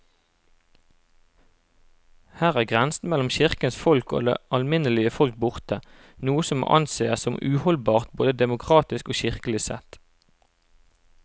Her er grensen mellom kirkens folk og det alminnelige folk borte, noe som må ansees som uholdbart både demokratisk og kirkelig sett.